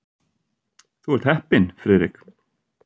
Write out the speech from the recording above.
Þú ert heppinn, Friðrik.